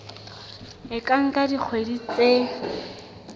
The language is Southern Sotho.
e ka nka dikgwedi tse